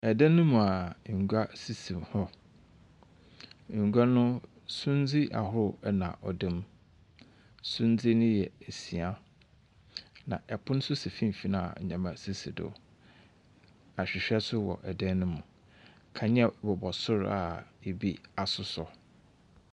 Ɛdan mu a ngua sisi hɔ ngua no sundzi ahorow ɛna ɔdam sundzi no yɛ esia na ɛpon so si finimfin a nyɛma sisi do ahwehwɛ so wɔ ɛdan no mu kanea wowɔ sor a birbi asosɔ.